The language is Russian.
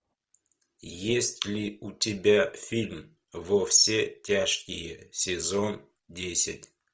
есть ли у тебя фильм во все тяжкие сезон десять